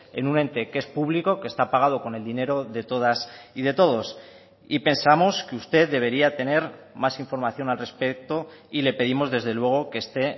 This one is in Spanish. en un ente que es público que está pagado con el dinero de todas y de todos y pensamos que usted debería tener más información al respecto y le pedimos desde luego que esté